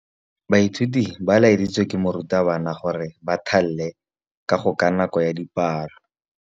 Baithuti ba laeditswe ke morutabana gore ba thale kagô ka nako ya dipalô.